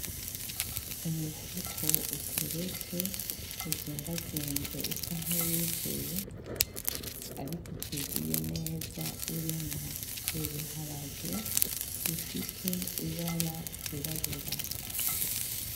Umufuko uteretse uzingazinze usa nkuwuzuye ariko utuzuye neza urimwo ibiharage bifise ibara ry'irabura